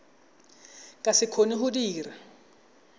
ka se kgone go dira